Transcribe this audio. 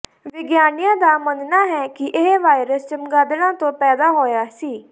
ਵਿਗਿਆਨੀਆਂ ਦਾ ਮੰਨਣਾ ਹੈ ਕਿ ਇਹ ਵਾਇਰਸ ਚਮਗਾਦੜਾਂ ਤੋਂ ਪੈਦਾ ਹੋਇਆ ਸੀ